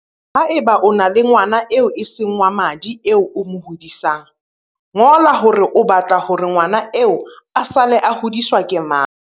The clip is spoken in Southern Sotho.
Haeba o na le ngwana eo e seng wa madi eo o mo hodisang, ngola hore o ba tla hore ngwana eo a sale a hodiswa ke mang.